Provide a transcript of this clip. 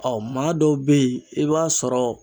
maa dɔw be yen i b'a sɔrɔ